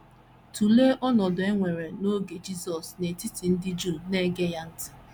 Tụlee ọnọdụ e nwere n’oge Jisọs n’etiti ndị Juu na - ege ya ntị.